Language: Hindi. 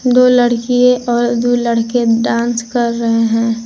दो लड़की और दो लड़के डांस कर रहे हैं।